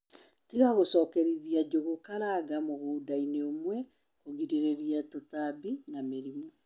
Tiga gûcokerithia njūgūkaranga mûgûndainï ûmwe kûgirïria tûtambi na mïrimû